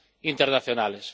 internacionales.